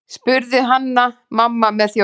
spurði Hanna-Mamma með þjósti.